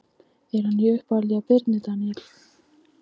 Er hann í uppáhaldi hjá Birni Daníel?